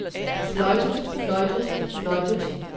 fløjtet fløjtet fløjtet